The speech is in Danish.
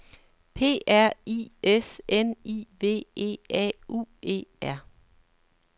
P R I S N I V E A U E R